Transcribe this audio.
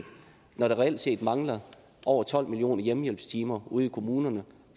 når der reelt set mangler over tolv millioner hjemmehjælpstimer ude i kommunerne